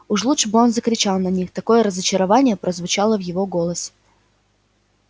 уж лучше бы он закричал на них такое разочарование прозвучало в его голосе